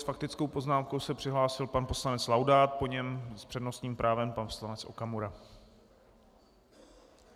S faktickou poznámkou se přihlásil pan poslanec Laudát, po něm s přednostním právem pan poslanec Okamura.